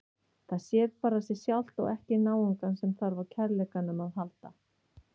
Það sér bara sig sjálft og ekki náungann sem þarf á kærleikanum að halda.